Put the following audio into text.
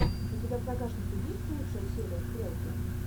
у тебя в загашнике есть лучшая серия стрелки